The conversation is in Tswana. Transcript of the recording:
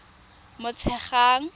motshegang